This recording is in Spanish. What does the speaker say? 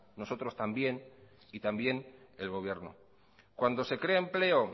nosotros también y también el gobierno cuando se crea empleo